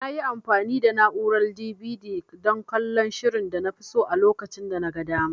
Nayi amfani da na'urar DVD dan kallon shirin danafi so a lokacin danaga dama.